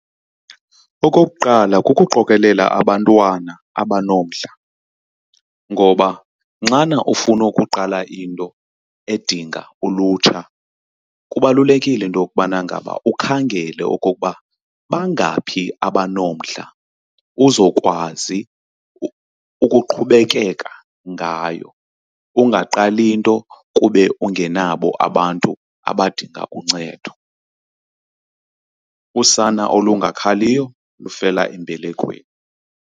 Okokuqala, kukuqokelela abantwana abanomdla. Ngoba nxana ufuna ukuqala into edinga ulutsha kubalulekile into yokubana ngaba ukhangele okokuba bangaphi abanomdla uzokwazi ukuqhubekeka ngayo, ungaqali into kube ungenabo abantu abadinga uncedo. Usana olungakhaliyo lufela embelekweni.